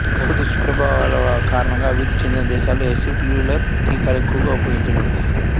తక్కువ దుష్ప్రభావాల కారణంగా అభివృద్ధి చెందిన దేశాలలో ఎసెల్యులార్ టీకాలు ఎక్కువగా ఉపయోగించబడతాయి